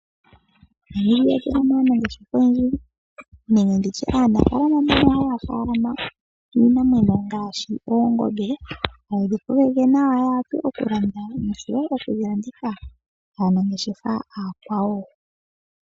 Monamibia otuno aanangeshefa oyendji nenge aanafaalama mbono haya tekula iinima ngaashi oongombe hadhi kokeke nawa noshowo okudhilanditha kaanangeshefa aakwawo.